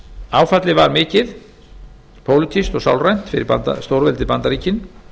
áfallið var mikið pólitískt og sálrænt fyrir stórveldið bandaríkin